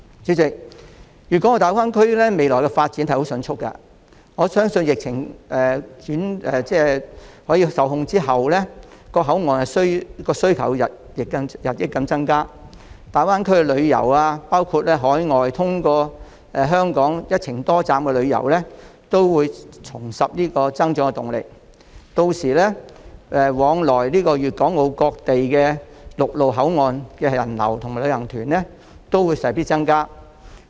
主席，粵港澳大灣區未來的發展相當迅速，相信在疫情受控後，口岸的需求將日增，而大灣區旅遊，包括海外人士經香港的一程多站旅遊活動亦會重拾增長動力，屆時往來粵港各陸路口岸的人流和旅行團均勢必增加。